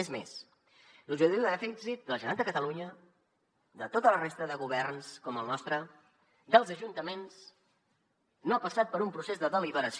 és més l’objectiu de dèficit de la generalitat de catalunya de tota la resta de governs com el nostre dels ajuntaments no ha passat per un procés de deliberació